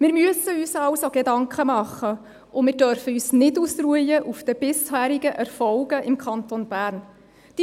Wir müssen uns also Gedanken machen, und wir dürfen uns nicht auf den bisherigen Erfolgen im Kanton Bern ausruhen.